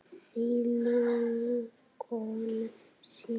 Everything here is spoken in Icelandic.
Þín mágkona Sif.